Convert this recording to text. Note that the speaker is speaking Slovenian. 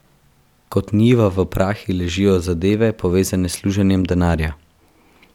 Kot njiva v prahi ležijo zadeve, povezane s služenjem denarja.